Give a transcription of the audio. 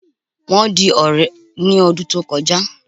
Wọ́n di ọ̀rẹ́ ní ọdún tó kọjá